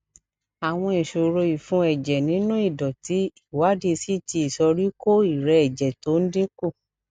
àwọn ìṣòro ìfun ẹjẹ nínú ìdòtí ìwádìí ct ìsoríkó ìrẹẹ ẹjẹ tó ń dín kù